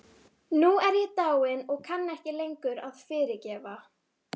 Nú er ég dáin og kann ekki lengur að fyrirgefa.